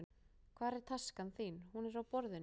Hvar er taskan þín? Hún er á borðinu.